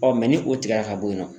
ni o tigɛra ka bɔ yen nɔ